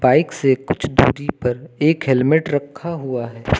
Bike से कुछ दूरी पर एक हेल्मेट रखा हुआ है।